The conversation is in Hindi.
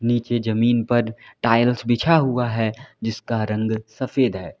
नीचे जमीन पर टाइल्स बिछा हुआ है जिसका रंग सफेद है।